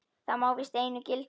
Það má víst einu gilda.